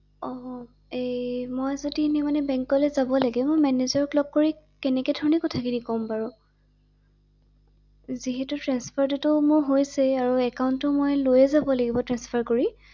অ এই মই যদি এনে বেংকলৈ যাব লাগে মই মেনেজাৰক লগ কৰি কেনেকে ধৰণে কথা খিনি কম বাৰু ৷যিহেতু ট্ৰেন্সফাৰটো মোৰ হৈছে আৰু মই একান্টটো মই লৈ যাব লাগিব ট্ৰান্সফাৰ কৰি ৷